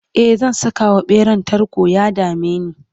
e zan Saka wa ɓeran tarko ya dameni